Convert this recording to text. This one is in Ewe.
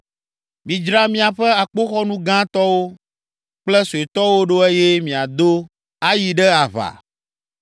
“Midzra miaƒe akpoxɔnu gãtɔwo kple suetɔwo ɖo eye miado ayi ɖe aʋa!